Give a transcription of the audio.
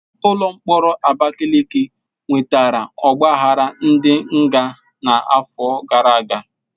Ụlọ mkpọrọ Abakaliki nwetara ogbaghara ndi nga n'afọ gara aga.